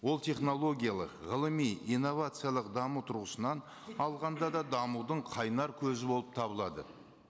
ол технологиялық ғылыми инновациялық даму тұрғысынан алғанда да дамудың қайнар көзі болып табылады